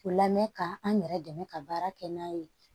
O lamɛn ka an yɛrɛ dɛmɛ ka baara kɛ n'a ye